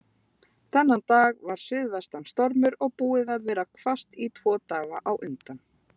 Þennan dag var suðvestan stormur og búið að vera hvasst tvo daga á undan.